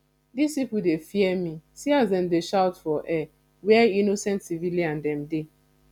dis pipu dey fear me see as dem dey shoot for air where innocent civilian dem dey